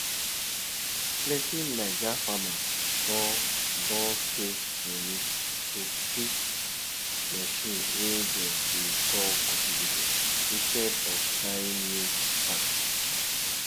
plenty naija farmers don don save money to fix machine wey dem dey call cultivator instead of buying new parts